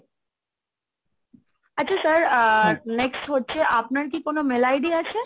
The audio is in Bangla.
okay আচ্ছা sir আহ next হচ্ছে আপনার কি কোনো mail ID আছে?